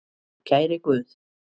Kæri Guð.